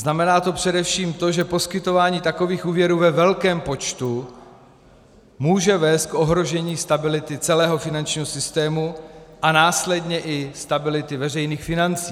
Znamená to především to, že poskytování takových úvěrů ve velkém počtu může vést k ohrožení stability celého finančního systému a následně i stability veřejných financí.